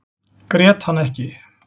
Grét hann ekki.